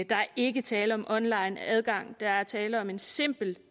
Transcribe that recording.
der er ikke tale om online adgang der er tale om en simpel